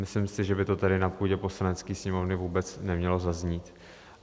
Myslím si, že by to tady na půdě Poslanecké sněmovny vůbec nemělo zaznít.